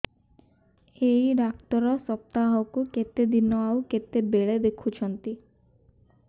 ଏଇ ଡ଼ାକ୍ତର ସପ୍ତାହକୁ କେତେଦିନ ଆଉ କେତେବେଳେ ଦେଖୁଛନ୍ତି